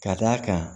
Ka d'a kan